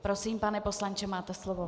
Prosím, pane poslanče, máte slovo.